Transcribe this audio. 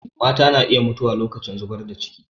Mata na iya mutuwa lokacin zubar da ciki